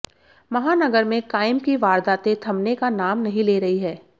महानगर में काइम की वारदातें थमने का नाम नहीं ले रही है